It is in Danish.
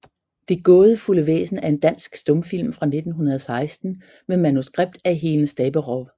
Det gaadefulde Væsen er en dansk stumfilm fra 1916 med manuskript af Helen Staberow